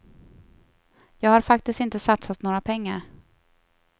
Jag har faktiskt inte satsat några pengar.